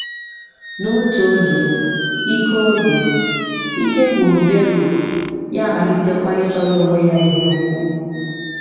N’otu oge, ike oge, ike gwụrụ Beruk, ya amalitekwa ịchọrọ onwe ya ihe ukwu.